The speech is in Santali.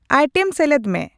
ᱟᱭᱴᱮᱢ ᱥᱮᱞᱮᱫᱢᱮ